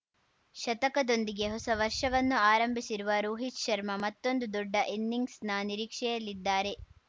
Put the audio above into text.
ಶತಕದೊಂದಿಗೆ ಹೊಸ ವರ್ಷವನ್ನು ಆರಂಭಿಸಿರುವ ರೋಹಿತ್‌ ಶರ್ಮಾ ಮತ್ತೊಂದು ದೊಡ್ಡ ಇನ್ನಿಂಗ್ಸ್‌ನ ನಿರೀಕ್ಷೆಯಲ್ಲಿದ್ದಾರೆ